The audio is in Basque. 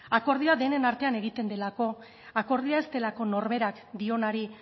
akordioa denen artean egiten delako akordioa ez delako norberak dionari